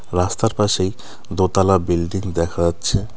রাস্তার পাশেই দোতালা বিল্ডিং দেখা যাচ্ছে .